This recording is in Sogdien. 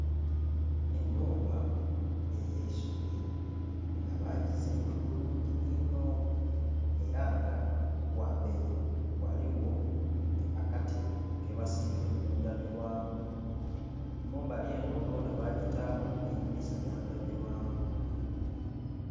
Ennhumba ey'eisubi nga bagizimba bulungi inho era nga ghamberi ghaligho akatebe kebasiire ku ndhabirwamu. Mumbali eno yona bagitaamu eidhinisa lya ndhabirwamu